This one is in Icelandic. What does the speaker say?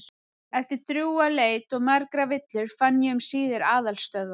Eftir drjúga leit og margar villur fann ég um síðir aðalstöðvar